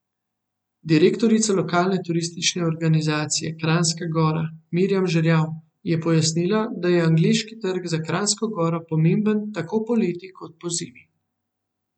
Direktorica Lokalne turistične organizacije Kranjska Gora Mirjam Žerjav je pojasnila, da je angleški trg za Kranjsko Goro pomemben tako poleti kot pozimi.